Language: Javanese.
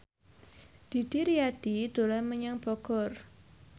Didi Riyadi dolan menyang Bogor